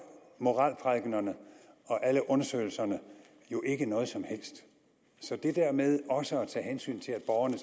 moralprædikenerne og alle undersøgelserne jo ikke noget som helst så det der med også at tage hensyn til at borgerne